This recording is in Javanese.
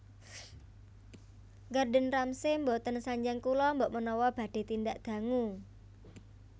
Gordon Ramsay mboten sanjang kula mbok menawa badhe tindak dangu